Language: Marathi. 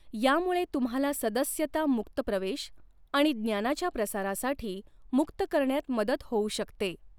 यामुळे तुम्हाला सदस्यता मुक्त प्रवेश आणि ज्ञानाच्या प्रसारासाठी मुक्त करण्यात मदत हॊऊ शकतॆ.